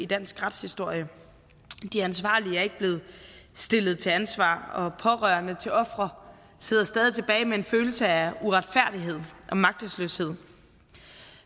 dansk retshistorie de ansvarlige er ikke blevet stillet til ansvar og pårørende til ofre sidder stadig tilbage med en følelse af uretfærdighed og magtesløshed